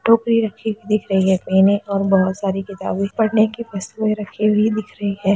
टोपी रखी हुई दिख रही है पहनी और बोहोत सारी किताबें पढ़ने की वस्तुए रखी हुई दिख रही हैं।